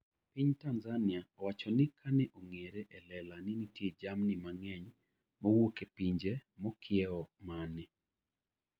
Piny Tanzania owacho ni kane ong'ere e lela ni nitie jamni mang'eny mowuok e pinje mokiewo mane